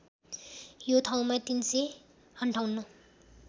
यो ठाउँमा ३५८